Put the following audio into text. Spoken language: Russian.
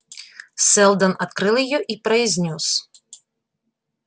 сэлдон открыл её и произнёс